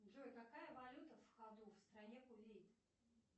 джой какая валюта в ходу в стране кувейт